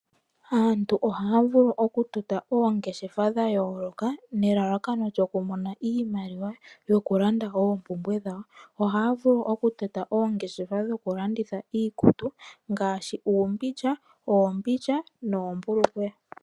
Aantu ohaya vulu okutotapo oongeshefa dha yooloka nelalakano lyokumona iimaliwa yokulanda oompumbwe dhawo. Ohaya vulu okutota oongeshefa dhokulandithila iikutu ngaashi uumbindja, oombindja noombulukweya.